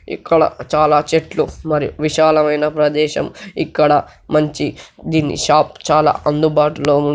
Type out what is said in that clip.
ఇక్కడ చాలా చెట్లు మరియు విశాలమైన ప్రదేశం ఇక్కడ మంచి దీన్ని షాప్ చాలా అందుబాటులో ఉ--